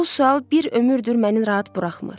Bu sual bir ömürdür məni rahat buraxmır.